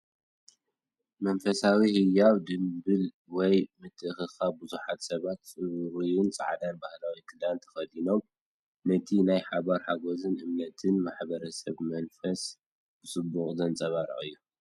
መንፈሳውን ህያውን ጽምብል ወይ ምትእኽኻብ፡ ብዙሓት ሰባት ጽሩይን ጻዕዳን ባህላዊ ክዳን ተኸዲኖም፡ ነቲ ናይ ሓባር ሓጎስን እምነትን ማሕበረሰብን መንፈስ ብጽቡቕ ዘንጸባርቕ እዩ!